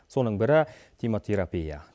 соның бірі темотерапия